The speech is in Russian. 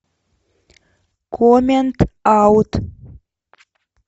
коммент аут